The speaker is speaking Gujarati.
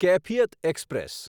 કૈફિયત એક્સપ્રેસ